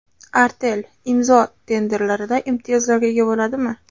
Artel, Imzo tenderlarda imtiyozlarga ega bo‘ladimi?